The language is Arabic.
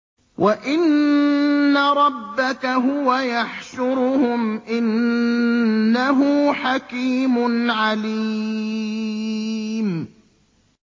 وَإِنَّ رَبَّكَ هُوَ يَحْشُرُهُمْ ۚ إِنَّهُ حَكِيمٌ عَلِيمٌ